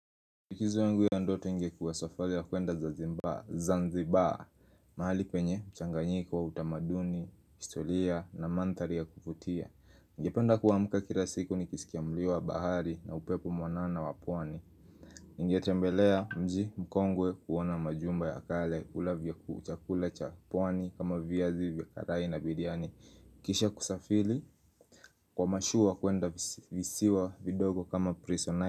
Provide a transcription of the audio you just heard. Likizi yangu ya ndoto ingekuwa safari ya kuenda za zanzibari mahali penye, mchanganyiko utamaduni, historia na mandhari ya kuvutia Ningependa kuamka kila siku nikisikia mlio wa bahari na upepo mwanana wa pwani ningetembelea mji mkongwe kuona majumba ya kale kula chakula cha pwani kama viazi vya karai na biriani Kisha kusafiri kwa mashua kuenda visiwa vidogo kama prisona.